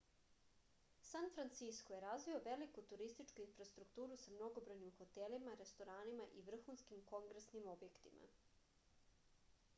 san francisko je razvio veliku turističku infrastrukturu sa mnogobrojnim hotelima restoranima i vrhuskim kongresnim objektima